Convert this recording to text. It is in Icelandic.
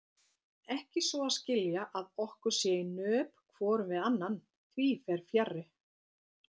Ekki svo að skilja að okkur sé í nöp hvorum við annan, því fer fjarri.